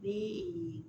Ni